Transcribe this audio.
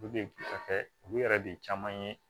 Olu de kɔfɛ olu yɛrɛ de caman ye